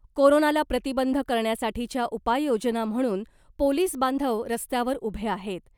कोरोनाला प्रतिबंध करण्यासाठीच्या उपाययोजना म्हणून पोलिस बांधव रस्त्यावर उभे आहेत .